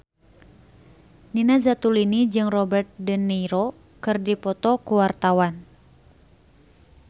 Nina Zatulini jeung Robert de Niro keur dipoto ku wartawan